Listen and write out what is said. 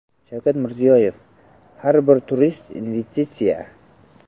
Shavkat Mirziyoyev: Har bir turist investitsiya .